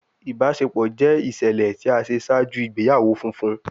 Ibaṣepọ jẹ iṣẹlẹ ti a ṣe ṣaaju igbeyawo funfun